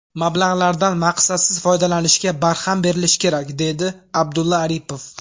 Mablag‘lardan maqsadsiz foydalanishga barham berilishi kerak”, deydi Abdulla Aripov.